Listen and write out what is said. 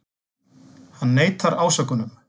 Hann neitar ásökunum